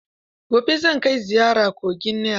Gobe zan kai ziyara kogin Nil.